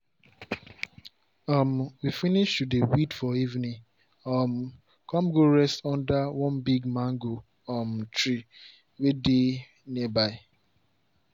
um we finish to dey weed for evening um come go rest under one big mango um tree way dey nearby.